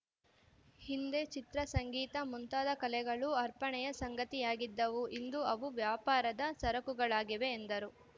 ಹಿಂದೆ ಚಿತ್ರ ಸಂಗೀತ ಮುಂತಾದ ಕಲೆಗಳು ಅರ್ಪಣೆಯ ಸಂಗತಿಯಾಗಿದ್ದವು ಇಂದು ಅವು ವ್ಯಾಪಾರದ ಸರಕುಗಳಾಗಿವೆ ಎಂದರು